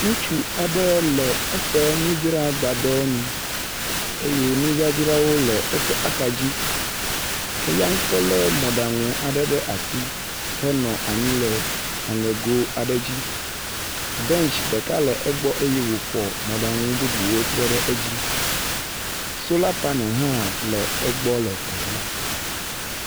Ŋutsu aɖe le ƒe nudzragbadɔ nu eye nudzadzrawo le eƒe axadzi ke ya ŋutɔ lé mɔɖaŋu aɖe ɖe asi henɔ anyi le aŋego aɖe dzi. Bentsi ɖeka nɔ egbɔ eye wofɔ mɔɖaŋu bubuwo trɔ ɖe edzi. Sola paneli hã le egbe le teƒea.